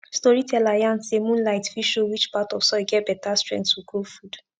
storyteller yarn say moonlight fit show which part of soil get better strength to grow food